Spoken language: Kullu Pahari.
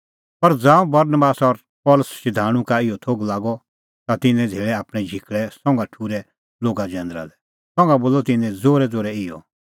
पर ज़ांऊं बरनबास और पल़सी शधाणूं का इहअ थोघ लागअ ता तिन्नैं धेल़ै आपणैं झिकल़ै संघा ठुर्है लोगा जैंदरा लै संघा बोलअ तिन्नैं ज़ोरैज़ोरै इहअ